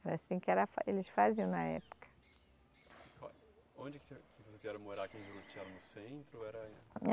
Era assim que era fa, eles faziam na época. Onde que morar em Juruti, era no centro, era